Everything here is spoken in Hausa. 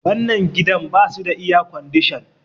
wannan gidan ba su da iyacodishan